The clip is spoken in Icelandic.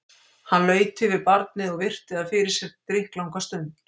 Hann laut yfir barnið og virti það fyrir sér drykklanga stund.